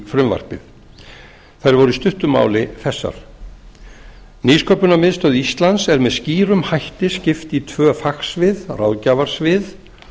frumvarpið þær voru í stuttu máli þessar nýsköpunarmiðstöð íslands er með skýrum hætti skipt í tvö fagsvið ráðgjafarsvið